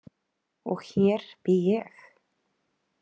Og hér bý ég!